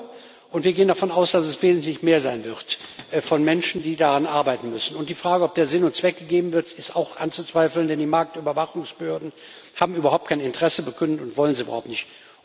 EUR, und wir gehen davon aus, dass es wesentlich mehr sein wird von Menschen, die daran arbeiten müssen. Und die Frage, ob der Sinn und Zweck gegeben wird, ist auch anzuzweifeln, denn die Marktüberwachungsbehörden haben überhaupt kein Interesse bekundet und wollen es überhaupt nicht.